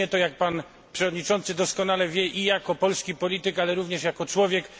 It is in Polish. Czynię to, jak pan przewodniczący doskonale wie, i jako polski polityk, ale również jako człowiek.